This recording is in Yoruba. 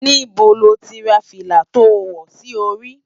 Nibó ló ti rá filá tó wò si óri?